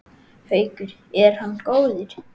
Haukur: Er hann góður?